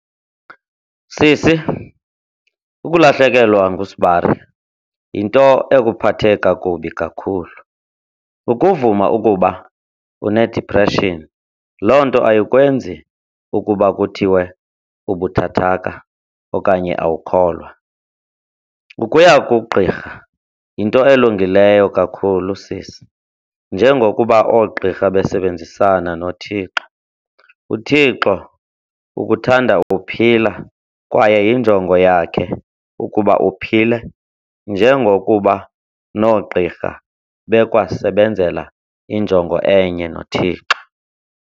Sisi, ukulahlekelwa ngusbari yinto ekuphathe kakubi kakhulu. Ukuvuma ukuba unedipreshini loo nto ayikwenzi ukuba kuthiwe ubuthathaka okanye awukholwa. Ukuya kugqirha yinto elungileyo kakhulu, sisi. Njengokuba oogqirha besebenzisana noThixo, uThixo ukuthanda uphila kwaye yinjongo yakhe ukuba uphile njengokuba noogiqrha bekwasebenzela injongo enye noThixo.